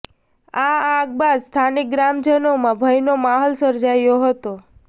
આ આગ બાદ સ્થાનિક ગ્રામજનોમાં ભયનો માહોલ સર્જાયો હતો